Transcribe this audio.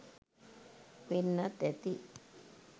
වෙන්නත් ඇති.